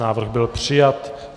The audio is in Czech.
Návrh byl přijat.